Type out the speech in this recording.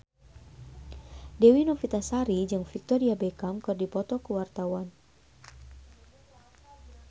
Dewi Novitasari jeung Victoria Beckham keur dipoto ku wartawan